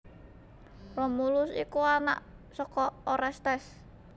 Romulus iku anak saka Orestes